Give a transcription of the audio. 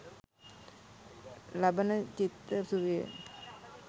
ලබන චිත්ත සුවය